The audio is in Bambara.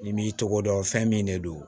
N'i m'i tɔgɔ dɔn fɛn min de don